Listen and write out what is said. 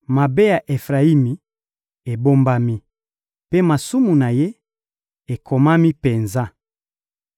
Mabe ya Efrayimi ebombami, mpe masumu na ye ekomami penza.